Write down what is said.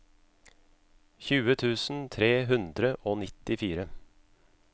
tjue tusen tre hundre og nittifire